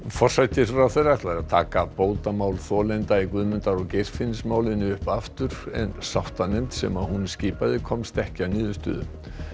forsætisráðherra ætlar að taka bótamál þolenda í Guðmundar og Geirfinnsmáli upp aftur en sáttanefnd sem hún skipaði komst ekki að niðurstöðu